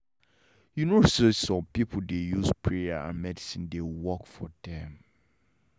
you know say some people dey use prayer and medicine dey work for them